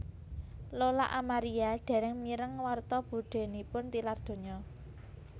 Lola Amaria dereng mireng warta budhenipun tilar donya